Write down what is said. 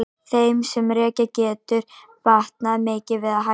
Þeim sem reykja getur batnað mikið við að hætta.